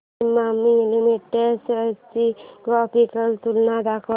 Emami limited shares ची graphical तुलना दाखव